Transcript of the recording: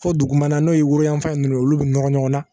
Fɔ dugumana n'o ye woroyanfan ye ninnu ye olu bɛ nɔrɔ ɲɔgɔn na